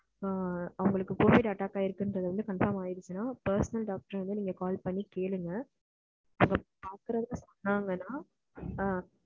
அவங்களுக்கு covid attack ஆகிருக்குறது conform ஆகிருச்சுன்னா personal doctor க்கு வந்து நீங்க call பண்ணி கேளுங்க அவங்க proper அ சொன்னாங்கன்னா,